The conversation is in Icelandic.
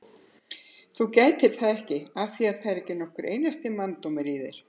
Þú gætir það ekki af því að það er ekki nokkur einasti manndómur í þér!